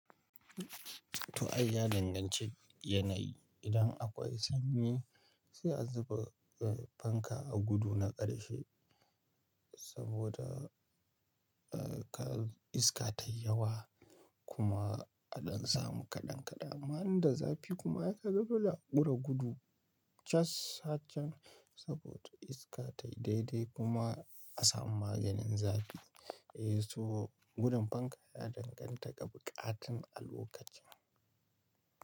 To ai ya danganci t yanayi, idan akwai sanyi sai a zuba fanka a gudu na ƙarshe saboda ka iska ta yi yawa kuma a ɗan samu kaɗan kaɗan. Amma inda zafi kuma ai kaga dole a ƙure gudu cas aar can saboda iska ta yi daidai kuma a samu maganin zafi. Eh so gudun fanka ya danganta ga buƙatun alokacin.